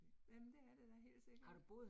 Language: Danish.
Jamen det er det da helt sikkert